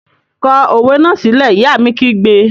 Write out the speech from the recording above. Kọ òwe náà sílẹ́! Ìyá mi kígbe!